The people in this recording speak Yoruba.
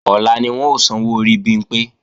Ọ̀la ni wọ́n ó sanwó orí Bimpé